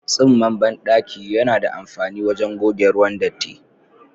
Tsinman bandaki yana da amfani wajen goge ruwan datti.